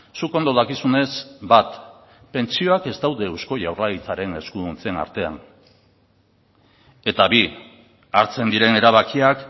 zuk ondo dakizunez bat pentsioak ez daude eusko jaurlaritzaren eskuduntzen artean eta bi hartzen diren erabakiak